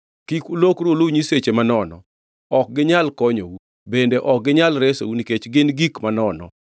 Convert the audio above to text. Kik ulokru uluw nyiseche manono. Ok ginyal konyou, bende ok ginyal resou nikech gin gik manono.